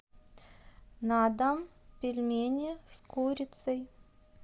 на дом пельмени с курицей